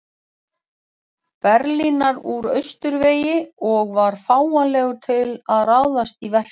Berlínar úr austurvegi og var fáanlegur til að ráðast í verkið.